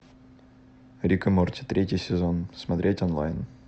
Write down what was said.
рик и морти третий сезон смотреть онлайн